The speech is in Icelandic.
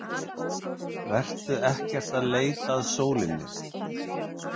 Vertu ekkert að leita að sólinni.